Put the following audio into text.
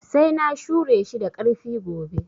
Sai na shure shi da ƙarfi gobe